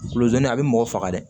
Kulodon in a bɛ mɔgɔ faga dɛ